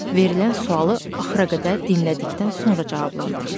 Verilən sualı axıra qədər dinlədikdən sonra cavablandırır.